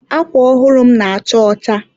Akwa ọhụrụ m na-acha ọcha..